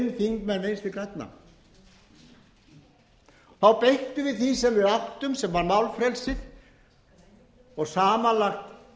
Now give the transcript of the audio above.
þingmenn vinstri grænna þá beittum við því sem við áttum sem var málfrelsið og samanlagt töluðu